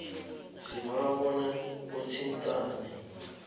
sibawa bona uthintane